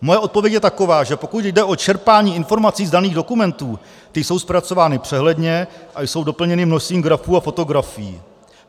Moje odpověď je taková, že pokud jde o čerpání informací z daných dokumentů, ty jsou zpracovány přehledně a jsou doplněny množstvím grafů a fotografií.